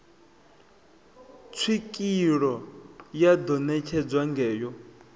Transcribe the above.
tswikeelo ya ḓo netshedzwa ngayo